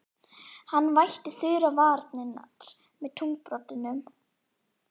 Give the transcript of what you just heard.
Hann vætti þurrar varirnar með tungubroddinum.